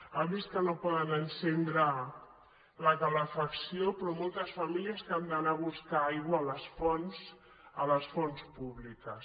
ha vist que no poden encendre la calefacció però moltes famílies que han d’anar a buscar aigua a les fonts públiques